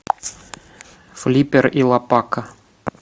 флиппер и лопака